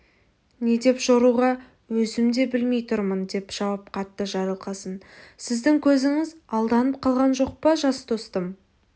не деп жоруға өзім де білмей тұрмын деп жауап қатты жарылқасын сіздің көзіңіз алданып қалған жоқ па жас достым